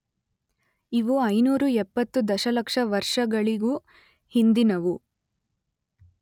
ಇವು ಐನೂರ ಎಪ್ಪತ್ತು ದಶಲಕ್ಷ ವರ್ಷಗಳಿಗೂ ಹಿಂದಿನವು.